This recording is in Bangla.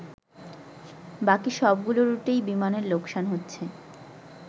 বাকী সবগুলো রুটেই বিমানের লোকসান হচ্ছে।